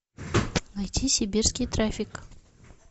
найти сибирский трафик